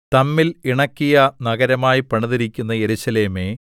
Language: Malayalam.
തമ്മിൽ ഇണക്കിയ നഗരമായി പണിതിരിക്കുന്ന യെരൂശലേമേ